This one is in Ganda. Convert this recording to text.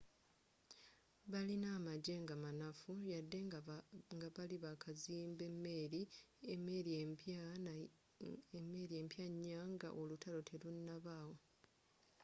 balina amagye nga manafu yadde nga bali bakazimba emeeri empya nya nga olutalo telunabawo